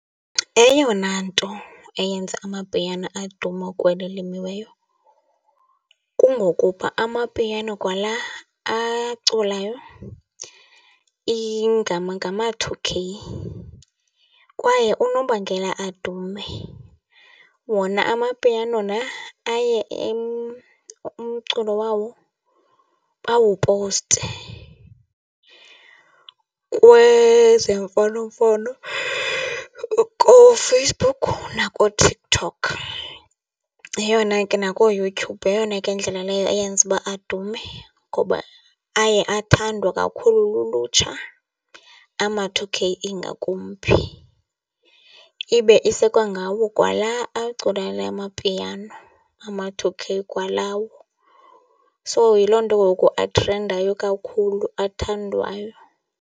Eyona nto eyenze amapiano aduma kweli limiweyo kungokuba amapiano kwala aculayo ngama-two K, kwaye unobangela adume wona amapiano la aye umculo wawo bawupowuste kwezemfonomfono kooFacebook nakooTikTok. Yeyona ke nakooYouTube yeyona ke indlela leyo eyenza uba adume ngoba aye athandwa kakhulu lulutsha, ama-two K ingakumbi. Ibe isekwangawo kwala acula la mapiano ama-two K kwalawo. So, yiloo nto ngoku athrendayo kakhulu, athandwayo.